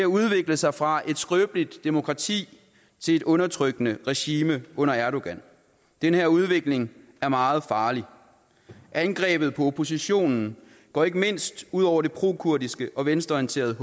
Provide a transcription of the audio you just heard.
udvikle sig fra et skrøbeligt demokrati til et undertrykkende regime under erdogan den her udvikling er meget farlig angrebet på oppositionen går ikke mindst ud over det prokurdiske og venstreorienterede